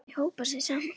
Þau hópa sig saman.